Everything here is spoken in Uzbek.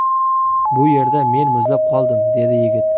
Bu yerda men muzlab qoldim”, dedi yigit.